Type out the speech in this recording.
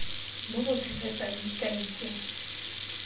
bo bo tshegetsang dikai tse